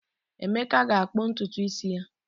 Emeka ga-akpụ ntutu isi ya echi